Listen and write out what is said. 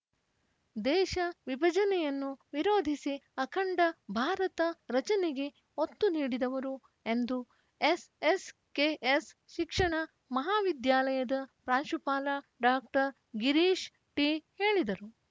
ದೇಶ ವಿಭಜನೆಯನ್ನು ವಿರೋಧಿಸಿ ಅಖಂಡ ಭಾರತ ರಚನೆಗೆ ಒತ್ತು ನೀಡಿದವರು ಎಂದು ಎಸ್‌ಎಸ್‌ಕೆಎಸ್‌ ಶಿಕ್ಷಣ ಮಹಾವಿದ್ಯಾಲಯದ ಪ್ರಾಂಶುಪಾಲ ಡಾಕ್ಟರ್ ಗಿರೀಶ್‌ಟಿ ಹೇಳಿದರು